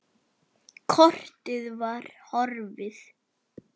Kortið var horfið!